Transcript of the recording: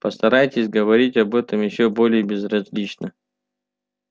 постарайтесь говорить об этом ещё более безразлично